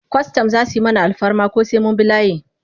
Kwastam za su yi mana alfarma ko sai mun bi layi?